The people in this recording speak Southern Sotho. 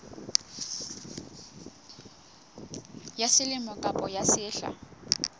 ya selemo kapa ya sehla